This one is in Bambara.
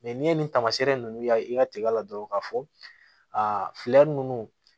n'i ye nin taamasiyɛn ninnu ye i ka tigala dɔrɔn k'a fɔ a ninnu